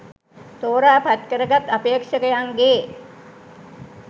තෝරා පත් කර ගත් අපේක්ෂකයන්ගේ